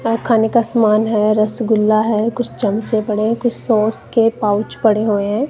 खाने का समान है रसगुल्ला है कुछ चमचे पड़े कुछ सॉस के पाउच पड़े हुए हैं।